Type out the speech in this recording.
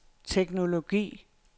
teknologi